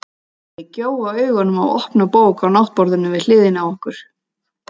Ég gjóa augunum á opna bók á náttborðinu við hliðina á okkur.